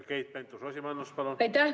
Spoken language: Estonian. Keit Pentus-Rosimannus, palun!